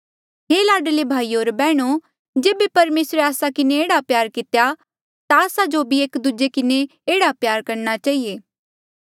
हे लाडले भाईयो होर बैहणो जेबे परमेसरे आस्सा किन्हें एह्ड़ा प्यार कितेया ता आस्सा जो भी एक दूजे किन्हें प्यार रखणा चहिए